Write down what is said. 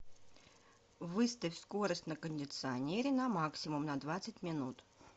выставь скорость на кондиционере на максимум на двадцать минут